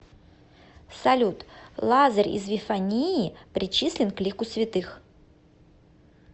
салют лазарь из вифании причислен к лику святых